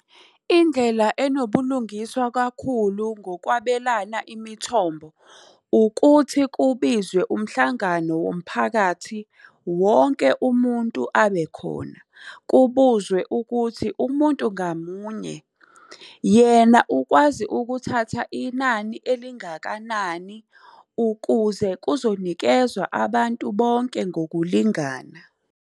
Indlela enobulungiswa kakhulu ngokwabelana imithombo, ukuthi kubizwe umhlangano womphakathi wonke umuntu abe khona. Kubuzwe ukuthi umuntu ngamunye yena ukwazi ukuthatha inani elingakanani ukuze kuzonikezwa abantu bonke ngokulingana.